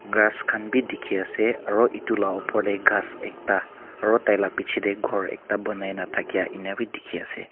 grass khan bi dikhi ase aru etu la opor te ghas ekta aru taila piche te ghor ekta bonaina thakia ena bi dikhi ase.